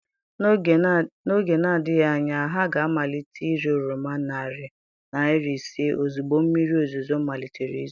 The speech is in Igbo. N'oge na-adịghị anya, ha ga-amalite ire oroma narị naira ise ozugbo mmiri ozuzo malitere izo.